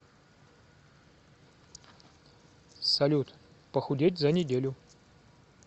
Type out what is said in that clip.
салют похудеть за неделю